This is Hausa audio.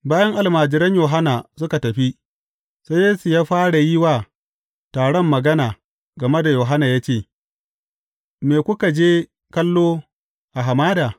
Bayan almajiran Yohanna suka tafi, sai Yesu ya fara yi wa taron magana game da Yohanna ya ce, Me kuka je kallo a hamada?